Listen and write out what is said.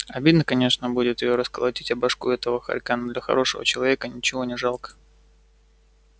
обидно конечно будет её расколотить о башку этого хорька но для хорошего человека ничего не жалко